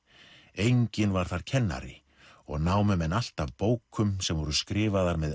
enginn var þar kennari og námu menn allt af bókum sem voru skrifaðar með